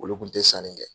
Olu kun te sanni kɛ